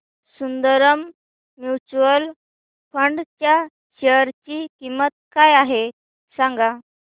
Sundaram mutual fund च्या share ची किंमत काय आहे सांगा